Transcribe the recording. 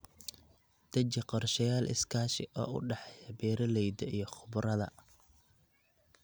Deji qorshayaal iskaashi oo u dhexeeya beeralayda iyo khubarada.